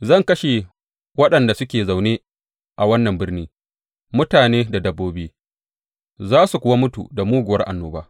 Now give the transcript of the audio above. Zan kashe waɗanda suke zaune a wannan birni, mutane da dabbobi za su kuwa mutu da muguwar annoba.